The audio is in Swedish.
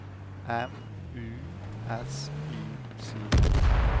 M U S I C